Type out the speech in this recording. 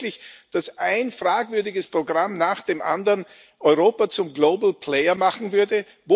Glauben Sie wirklich, dass ein fragwürdiges Programm nach dem anderen Europa zum Global Player machen würde?